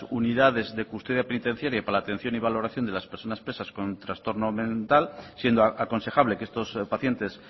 unidades de custodia penitenciaria para la atención y valoración de las personas presas con trastorno mental siendo aconsejable que estos pacientes